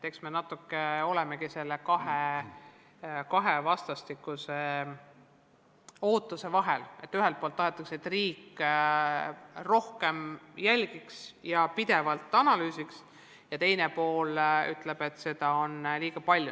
Eks me natuke olemegi kahe vastastikuse ootuse vahel: ühelt poolt tahetakse, et riik rohkem jälgiks ja pidevalt analüüsiks, ja teiselt poolt öeldakse, et seda on liiga palju.